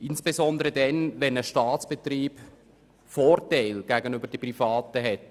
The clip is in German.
Das gilt insbesondere, wenn ein Staatsbetrieb in einem Markt Vorteile gegenüber Privaten hat.